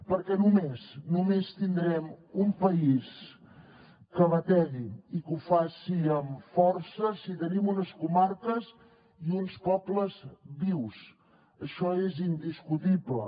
perquè només tindrem un país que bategui i que ho faci amb força si tenim unes comarques i uns pobles vius això és indiscutible